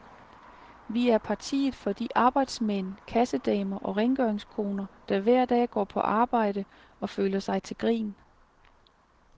Vi er partiet for de arbejdsmænd, kassedamer og rengøringskoner, der hver dag går på arbejde og føler sig til grin.